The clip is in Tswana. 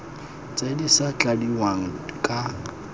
tse di sa tladiwang ka